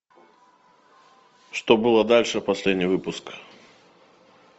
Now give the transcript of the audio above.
что было дальше последний выпуск